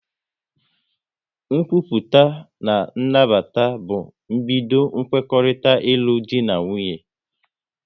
Nkwupụta na nnabata bụ mbido kwekorita ilu dị na nwunye